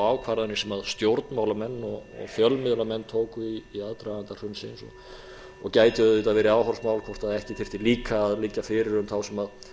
ákvarðanir sem stjórnmálamenn og fjölmiðlamenn tóku í aðdraganda hrunsins og gæti auðvitað verið áhorfsmál hvort ekki þyrfti líka að liggja fyrir um þá sem